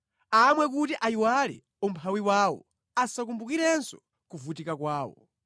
amwe kuti ayiwale umphawi wawo asakumbukirenso kuvutika kwawo.